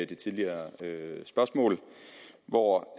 det tidligere spørgsmål hvor